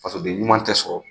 Fasoden ɲuman tɛ sɔrɔ,